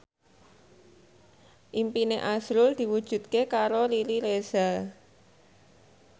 impine azrul diwujudke karo Riri Reza